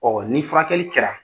Ɔɔ ni furakɛli kɛra